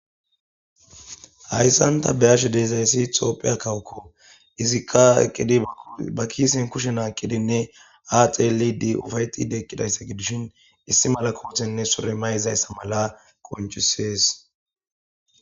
Hayisan ta be'ashe dizayis itophey kawo izika eqidi ba kiseni kushe naqidinee haxelidi upayetidi eqizaysa gidishin issi mala kotenee sure maizaysa mala qonicises